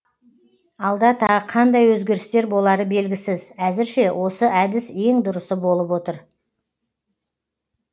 алда тағы қандай өзгерістер болары белгісіз әзірше осы әдіс ең дұрысы болып отыр